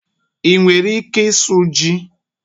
Ị nwere ike ịsụ ji?